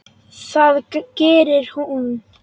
Það gerir hún.